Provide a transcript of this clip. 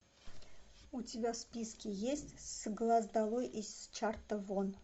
у тебя в списке есть с глаз долой из чарта вон